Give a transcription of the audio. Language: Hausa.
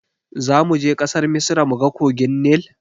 Zamuje ƙasar misra muga kogin nil?